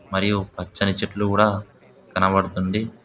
మరియు పచ్చని చెట్టులు కూడా కనపడ్తుంది.